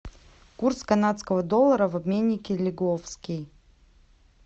курс канадского доллара в обменнике лиговский